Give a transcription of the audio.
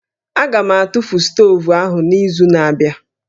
Aga m atụfu stovu ahụ n'izu na-abịa